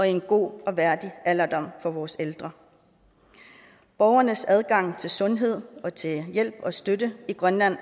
en god og værdig alderdom for vores ældre borgernes adgang til sundhed og til hjælp og støtte i grønland